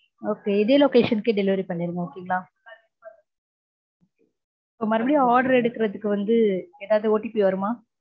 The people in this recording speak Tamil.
okay இதே location க்கே delivery பண்ணிருங்க okay ங்களா இப்போ மறுபடியும் order எடுக்கறதுக்கு வந்து ஏதாவது OTP வருமா?